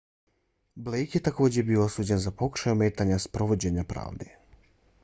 blake je također bio osuđen za pokušaj ometanja sprovođenja pravde